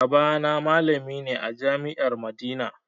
Baba na malami ne a jami'ar madina